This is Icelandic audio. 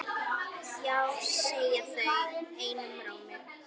Já segja þau einum rómi.